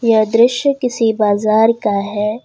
यह दृश्य किसी बाजार का है।